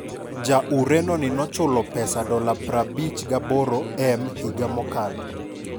Ja Ureno ni nochul pesa $ 58m higa mokalo